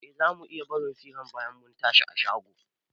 Eh, zamu iya barin firan bayan mun tashi a shago